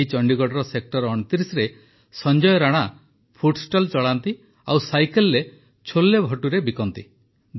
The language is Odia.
ଏହି ଚଣ୍ଡିଗଡ଼ର ସେକ୍ଟର ୨୯ରେ ସଂଜୟ ରାଣା ଫୁଡଷ୍ଟଲ୍ ଚଳାନ୍ତି ଆଉ ସାଇକଲରେ ଛୋଲେଭଟୁରେ ବିକ୍ରି କରନ୍ତି